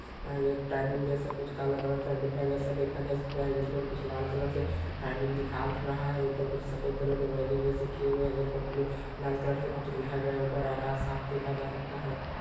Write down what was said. एक टाइमिंग जैसा कुछ काला कलर का डिब्बा जैसा देखा जा सकता है। जिस पर कुछ लाल कलर से टाइमिंग दिखा रहा है। ऊपर कुछ सफ़ेद कलर का जैसे किया गया है जिन पर ब्लू लाल कलर से कुछ लिखा गया है। ऊपर आकाश साफ देखा जा सकता है।